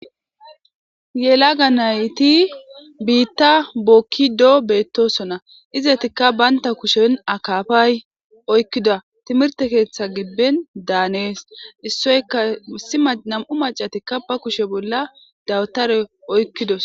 Yela ga nayti biitta bookkido beettosona izetikka baynta kushen akaafay oykkida timirte keeththa gibben daanees issoyka sima nam'u macatikka ba kushe bolla dawtare oykkidos.